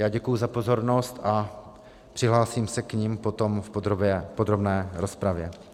Já děkuji za pozornost a přihlásím se k nim potom v podrobné rozpravě.